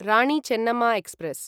Rani Chennamma express